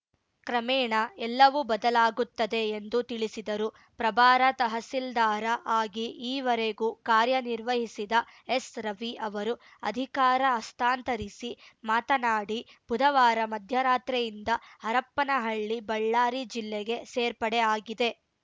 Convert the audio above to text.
ಕ್ರಮೇಣ ಎಲ್ಲವೂ ಬದಲಾಗುತ್ತದೆ ಎಂದು ತಿಳಿಸಿದರು ಪ್ರಭಾರ ತಹಸೀಲ್ದಾರ ಆಗಿ ಈವರೆಗೂ ಕಾರ್ಯನಿರ್ವಹಿಸಿದ ಎಸ್‌ರವಿ ಅವರು ಅಧಿಕಾರ ಹಸ್ತಾಂತರಿಸಿ ಮಾತನಾಡಿ ಬುಧವಾರ ಮಧ್ಯರಾತ್ರಿಯಿಂದ ಹರಪ್ಪನಹಳ್ಳಿ ಬಳ್ಳಾರಿ ಜಿಲ್ಲೆಗೆ ಸೇರ್ಪಡೆ ಆಗಿದೆ